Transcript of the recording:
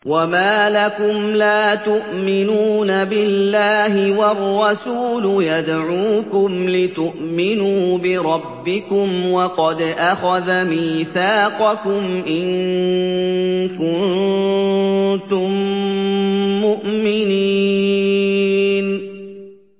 وَمَا لَكُمْ لَا تُؤْمِنُونَ بِاللَّهِ ۙ وَالرَّسُولُ يَدْعُوكُمْ لِتُؤْمِنُوا بِرَبِّكُمْ وَقَدْ أَخَذَ مِيثَاقَكُمْ إِن كُنتُم مُّؤْمِنِينَ